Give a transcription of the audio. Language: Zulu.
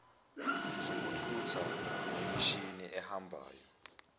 zokuthutha nemishini ehambayo